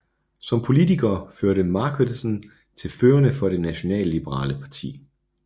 Som politiker hørte Marquardsen til førerne for det nationalliberale parti